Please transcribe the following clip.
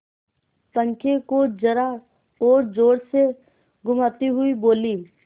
पंखे को जरा और जोर से घुमाती हुई बोली